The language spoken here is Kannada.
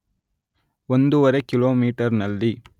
ಒಂದೂವರೆ ಕಿಲೋಮೀಟರ್‌ನಲ್ಲಿ